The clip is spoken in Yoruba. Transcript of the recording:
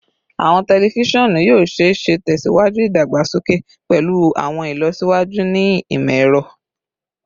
Awọn tẹlifisiọnu yoo ṣee ṣe tẹsiwaju idagbasoke pẹlu awọn ilọsiwaju ni imọ-ẹrọ